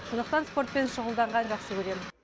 сондықтан спортпен шұғылданған жақсы көремін